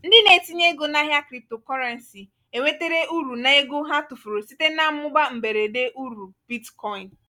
ndị na-etinye ego n'ahịa cryptocurrency enwetere uru n'ego ha tufuru site na mmụba mberede uru bitcoin.